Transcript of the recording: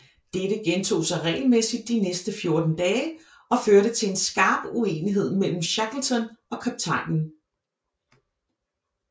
Dette gentog sig regelmæssigt de næste fjorten dage og førte til en skarp uenighed mellem Shackleton og kaptajnen